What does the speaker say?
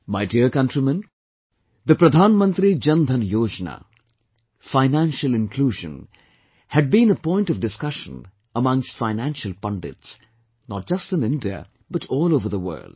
My dear countrymen, the Pradhan Mantri Jan DhanYojna, financial inclusion, had been a point of discussion amongst Financial Pundits, not just in India, but all over the world